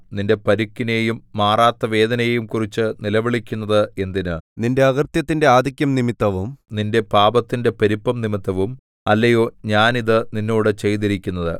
നിന്റെ പരുക്കിനെയും മാറാത്ത വേദനയെയും കുറിച്ച് നിലവിളിക്കുന്നത് എന്തിന് നിന്റെ അകൃത്യത്തിന്റെ ആധിക്യംനിമിത്തവും നിന്റെ പാപത്തിന്റെ പെരുപ്പംനിമിത്തവും അല്ലയോ ഞാൻ ഇതു നിന്നോട് ചെയ്തിരിക്കുന്നത്